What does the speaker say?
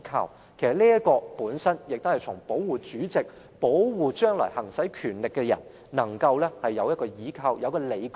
其實，這項條文本身是為保護主席、保護將來行使權力的人，讓他們有一個倚靠及理據。